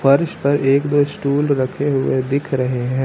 फर्श पर एक दो स्टूल रखे हुए दिख रहे हैं।